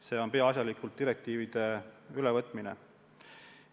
See on peaasjalikult direktiivide ülevõtmise eelnõu.